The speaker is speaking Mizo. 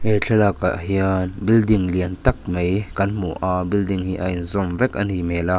he thlalak ah hian building liantak mai kan hmu a building hi a inzawm vek a nih hmel a--